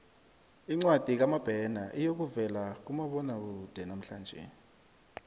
incwadi kamabena iyokuvela kumabonwakude namhlanje